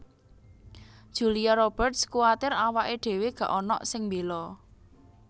Julia Roberts kuwatir awake dhewe gak onok sing mbela